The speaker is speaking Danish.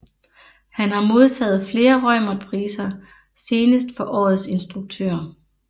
Han har modtaget flere Reumertpriser senest for årets instruktør